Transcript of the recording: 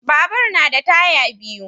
Babur na da taya biyu.